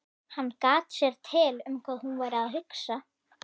Hann gat sér til um hvað hún væri að hugsa.